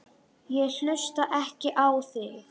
Ég hlusta ekki á þig.